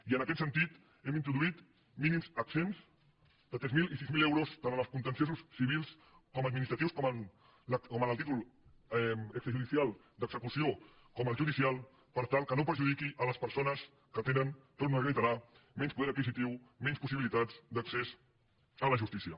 i en aquest sentit hem introduït mínims exempts de tres mil i sis mil euros tant en els contenciosos civils com administratius com en el títol extrajudicial d’execució com el judicial per tal que no perjudiqui les persones que tenen ho torno a reiterar menys poder adquisitiu menys possibilitats d’accés a la justícia